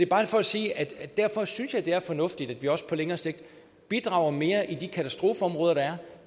bare for at sige at jeg derfor synes det er fornuftigt at vi også på længere sigt bidrager mere i de katastrofeområder der er